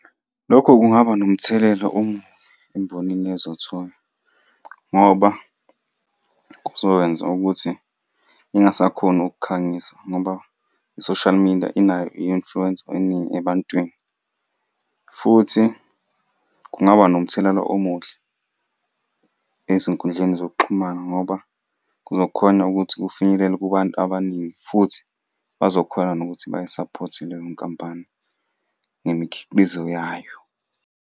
Lokho kungaba nomthelela omubi embonini ezothola, ngoba kuzokwenza ukuthi ingasakhoni ukukhangisa ngoba i-social media inayo i-influence eningi ebantwini, futhi kungaba nomthelela omuhle ezinkundleni zokuxhumana ngoba kuzokhona ukuthi kufinyelele kubantu abaningi, futhi bazokhona nokuthi bayi-support-e leyo nkampani ngemikhiqizo yayo.